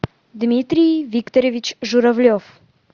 дмитрий викторович журавлев